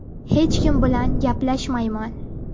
Hech kim bilan gaplashmayman”.